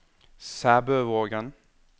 Sæbøvågen